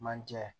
Manjɛ